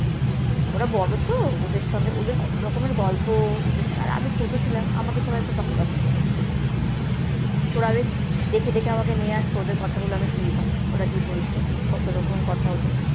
ওরা বড় তো, ওদের সঙ্গে ওদের কত রকমের গল্প, আর আমি ওদের সঙ্গে, আর আমি ছোট ছিলাম। আমাকে সবাই খুব ভালোবাসতো। ওরা বেশ দেখে দেখে আমাকে নিয়ে আসতো। ওদের কথাগুলো আমি শুনতাম। ওরা কি বলছে, কত রকমের কথা ওদের।